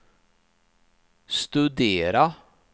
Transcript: studera